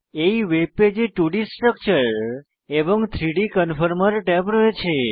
এই ওয়েব পেজে 2ডি স্ট্রাকচার এবং 3ডি কনফর্মের ট্যাব রয়েছে